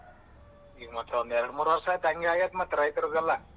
ಈಗ ಮತ್ತ್ ಒಂದೇರಡಮೂರ್ ವರ್ಷ ಆಯ್ತು ಹಂಗೆ ಆಗಾಯ್ತ ಮತ್ತ್ ರೈತರದೆಲ್ಲ.